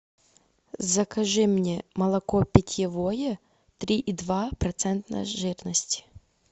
закажи мне молоко питьевое три и два процента жирности